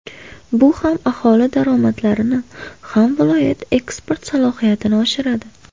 Bu ham aholi daromadlarini, ham viloyat eksport salohiyatini oshiradi.